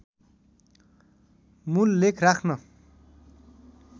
मूल लेख राख्‍न